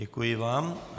Děkuji vám.